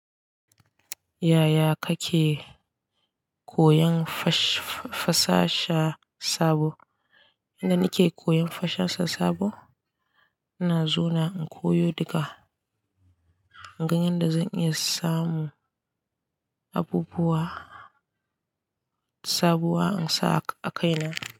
Yaya kake koyan fasaha sabo? Inda nake koyan fasaha sabo, ina zuwa in koyo daga ingan da zan iya samu abubuwa sabuwa in sa a kaina.